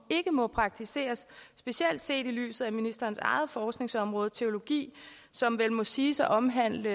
ikke må praktiseres specielt set i lyset af ministerens eget forskningsområde teologi som vel må siges at omhandle